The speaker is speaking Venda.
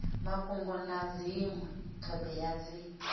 mafhungo na dzinwe thodea dzi